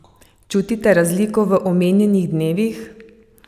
Čutite razliko v omenjenih dnevih?